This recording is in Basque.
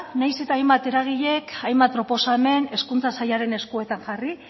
nahiz eta hainbat eragile hainbat proposamen hezkuntza sailaren eskuetan jarri